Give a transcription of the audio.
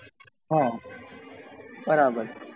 હા બરાબર